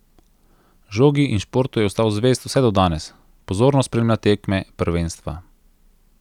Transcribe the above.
Žogi in športu je ostal zvest vse do danes, pozorno spremlja tekme, prvenstva.